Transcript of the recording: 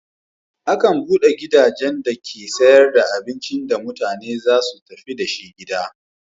Akan buɗe gidajen dake sayar da abincin da mutane za su tafi da shi gida.